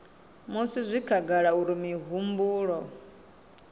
musi zwi khagala uri mihumbulo